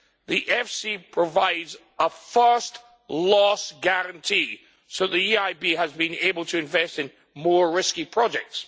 The EFSI provides a first loss guarantee so that the EIB has been able to invest in more risky projects.'